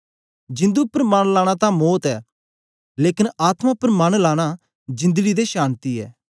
जिंदु उपर मन लाना तां मौत ऐ लेकन आत्मा उपर मन लाना जिंदड़ी ते शान्ति ऐ